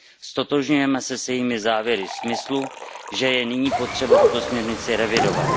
Ztotožňujeme se s jejími závěry ve smyslu, že je nyní potřeba tuto směrnici revidovat.